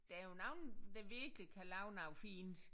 Der er jo nogen der virkelig kan lave noget fint